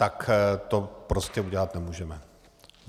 ... tak to prostě udělat nemůžeme.